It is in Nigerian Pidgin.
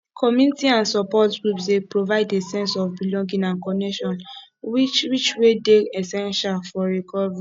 community and support groups dey provide a sense of belonging and connection which which wey dey essential for recovery